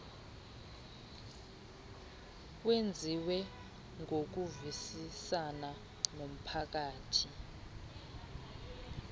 wenziwe ngokuvisisana nomphathiswa